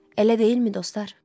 Elə deyilmi, dostlar?